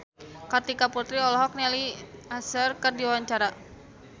Kartika Putri olohok ningali Usher keur diwawancara